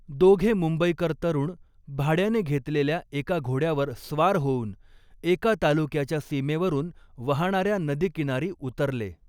दोघे मुंबईकर तरुण भाड्याने घेतलेल्या एका घोड्यावर स्वार होऊन, एका तालुक्याच्या सीमेवरून वहाणाऱ्या नदीकिनारी उतरले.